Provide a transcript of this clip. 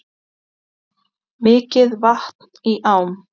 Mikið vatn í ám